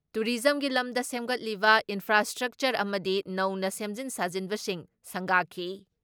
ꯇꯨꯔꯤꯖꯝꯒꯤ ꯂꯝꯗ ꯁꯦꯝꯒꯠꯂꯤꯕ ꯏꯟꯐ꯭ꯔꯥꯏꯁꯇ꯭ꯔꯛꯆꯔ ꯑꯃꯗꯤ ꯅꯧꯅ ꯁꯦꯝꯖꯤꯟ ꯁꯥꯖꯤꯟꯕꯁꯤꯡ ꯁꯪꯒꯥꯈꯤ ꯫